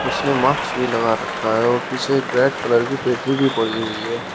उसने माक्स भी लगा रखा है और पीछे रेड कलर की पेटी भी पड़ी हुई है।